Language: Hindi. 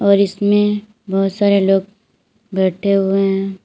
और इसमें बहुत सारे लोग बैठे हुए हैं।